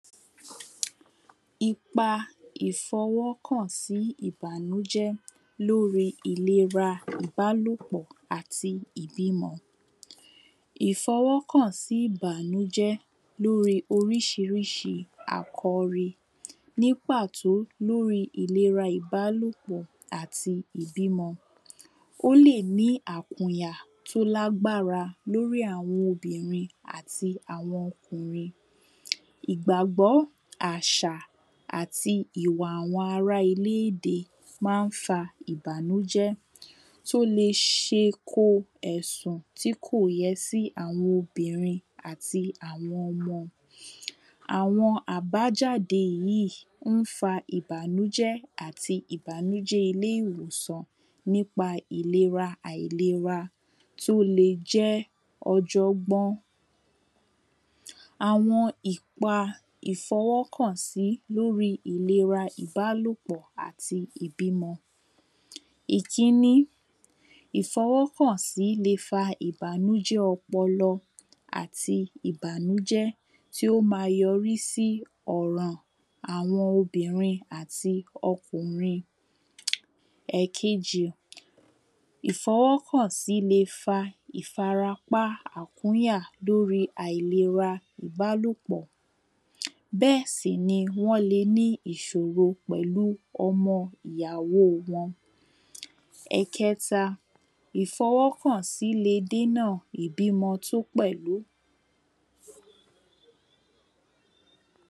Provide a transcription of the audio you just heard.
Ipa ìfọwọ́ kàn sí ìbànújẹ́ lórí ìlera ìbálópọ̀ àti ìbímọ. Ìfọwọ́ kàn sí ìbànújẹ́ lórí oríṣiríṣi àkọ́rí nípàtó lórí ìlera ìbálópọ̀ àti ìbímọ. Ó lè ní àkùyà tó lágbára lórí àwọn obìnrin àti àwọn ọkùnrin. Ìgbàgbọ́ àṣà àti ìwà àwọn ará ilé èdè má ń fa ìbànújẹ́ tí ó le ṣe ko ẹ̀sàn tí kò yẹ sí àwọn obìnrin àti àwọn ọmọ. Àwọn àbájáde yìí ó ń fa ìbànújẹ́ àti ìbànújẹ́ ilé ìwòsàn nípa ìlera àìlera tó le jẹ́ ọjọ́gbọ́n. Àwọn ìpa ìfọwọ́kàn sí lórí ìlera ìbálópọ̀ àti ìbímọ. Ìtíní ìfọwọ́kàn sí le fa ìbànújẹ́ ọpọlọ àti ìbànújẹ́ tí ó má yọrí sí ọ̀ran àwọn obìnrin àti ọkùrin. Ẹ̀kejì ìfọwọ́kàn sí le fa ìfarapá ìkúnyà lórí àìlera ìbálópọ̀. Bẹ́ẹ̀ sì ni ẃọ́n le ní ìṣòrò pẹ̀lú ọmọ ìyàwó wọn. Ẹ̀keta ìfọwọ́kàn sí le dènà ìbímọ tó pẹ̀lú.